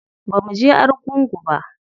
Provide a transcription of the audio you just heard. Bamu je argungu ba.